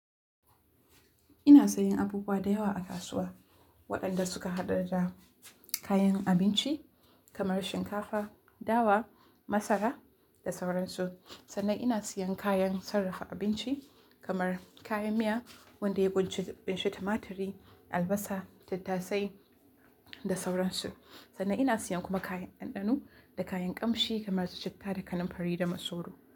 Ina sayan abubuwa da yawa a kasuwa waɗanda suka hada da kayan abinci kamar shinkafa, dawa, masara da sauransu. Sannan ina siyan kayan sarrafa abinci kamar kayan miya, wanda ya ƙunshi tumaturi, albasa, tattasai da sauransu. Sannan ina siyan kuma kayan ɗanɗano da kayan ƙamshi kamar su citta da kaninfari da masoro.